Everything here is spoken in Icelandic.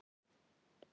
Því miður, já.